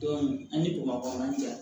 an ni bamakɔ yan